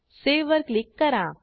save वर click करा